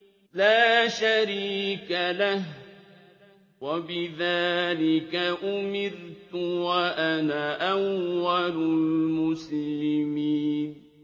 لَا شَرِيكَ لَهُ ۖ وَبِذَٰلِكَ أُمِرْتُ وَأَنَا أَوَّلُ الْمُسْلِمِينَ